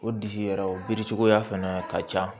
O disi yɛrɛ o biri cogoya fɛnɛ ka ca